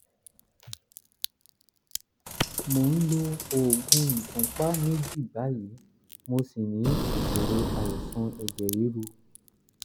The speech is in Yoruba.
mo ń lo oògùn ìfúnpá méjì báyìí mo ṣì ní ìṣòro àìsàn ẹ̀jẹ̀ ríru